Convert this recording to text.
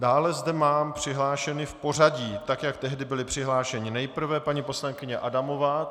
Dále zde mám přihlášeny v pořadí tak, jak tehdy byli přihlášeni: nejprve paní poslankyně Adamová.